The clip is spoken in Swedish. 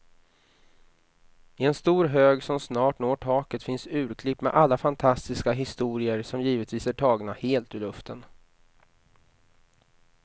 I en stor hög som snart når taket finns urklipp med alla fantastiska historier, som givetvis är tagna helt ur luften.